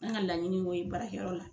An ŋa laɲini y'o ye baarakɛyɔrɔ la.